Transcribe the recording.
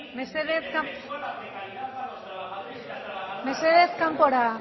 mesedez